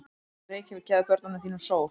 Reykjavík, gefðu börnum þínum sól!